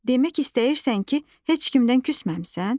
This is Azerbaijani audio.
Demək istəyirsən ki, heç kimdən küsməmisən?